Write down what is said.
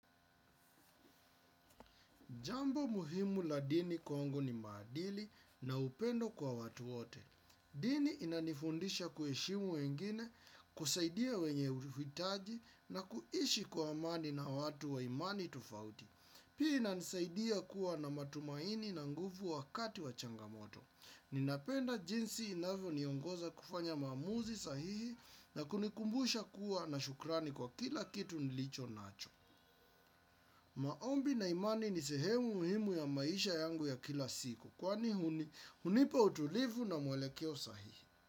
Jambo muhimu la dini congo ni maadili na upendo kwa watu wote. Dini inanifundisha kuheshimu wengine, kusaidia wenye uhitaji na kuishi kwa amani na watu wa imani tofauti. Hii inanisaidia kuwa na matumaini na nguvu wakati wa changamoto. Ninapenda jinsi inavyo niongoza kufanya maamuzi sahihi na kunikumbusha kuwa na shukrani kwa kila kitu nilicho nacho. Maombi na imani ni sehemu muhimu ya maisha yangu ya kila siku. Kwani hunipa utulivu na mwelekeo sahihi.